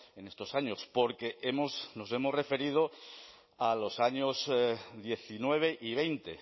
en estos años porque nos hemos referido a los años dos mil diecinueve y dos mil veinte